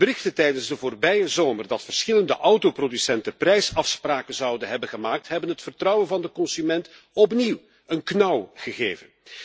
De berichten tijdens de voorbije zomer dat verschillende autoproducenten prijsafspraken zouden hebben gemaakt, hebben het vertrouwen van de consument opnieuw een knauw gegeven.